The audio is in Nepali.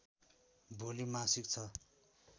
भोलि मासिक छ